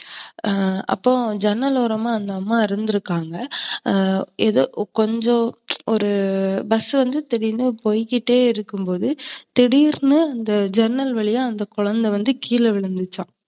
அப்போ ஜன்னல் ஓரமா அந்த அம்மா இருந்துருக்காங்க. எதோ கொஞ்சம் ஒரு bus வந்து திடீருனு போயிகிட்டே இருக்கும்போது, திடீருனு ஜன்னல் வழியா அந்த குழந்த வந்து கீழ விழுந்துச்சாம்.